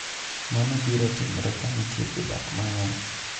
Mano biro timre ka nitie jodak mang’eny.